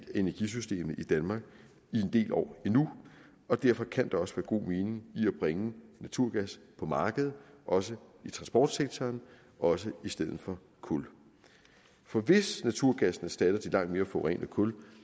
af energisystemet i danmark i en del år endnu og derfor kan der også være god mening i at bringe naturgas på markedet også i transportsektoren og også i stedet for kul for hvis naturgassen erstatter de langt mere forurenende kul